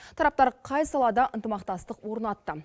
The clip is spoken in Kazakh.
тараптар қай салада ынтымақтастық орнатты